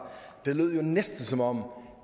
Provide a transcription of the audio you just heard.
det lød jo næsten som om